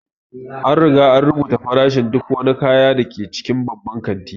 An riga an rubuta farashin duk wani kaya da ke cikin babban kanti